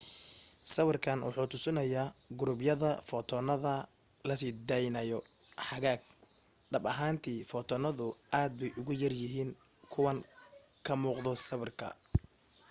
sawirka waxa uu tusinayaa qurubyada footoonada la sii daynayo hagaag dhab ahaantii footoonadu aad bay uga yaryihiin kuwan ka muuqda sawirka